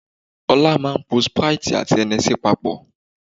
Ọlá máa ń po sprite àti Hennessey papọ̀